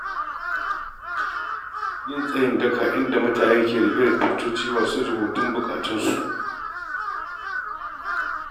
Yin tsayin daka inda mutane ke riƙe tutoci masu rubutun bukatunsu.